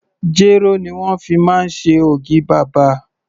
Jéró ni wón fi máa ń ṣe ògì bàbà.